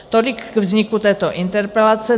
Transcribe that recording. Tolik k vzniku této interpelace.